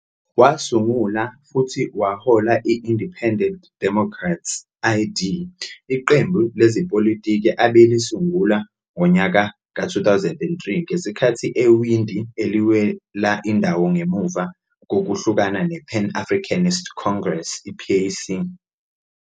Wasungula futhi wahola i-Independent Democrats, ID, iqembu lezepolitiki abelisungula ngonyaka ka-2003 ngesikhathi ewindi eliwela indawo ngemuva kokuhlukana nePan Africanist Congress PAC.